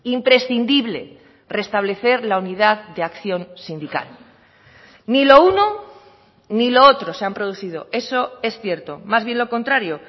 imprescindible restablecer la unidad de acción sindical ni lo uno ni lo otro se han producido eso es cierto más bien lo contrario